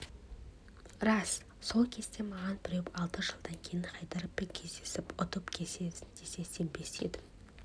рас сол кезде маған біреу алты жылдан кейін хайдаровпен кездесіп ұтып кетесің десе сенбес едім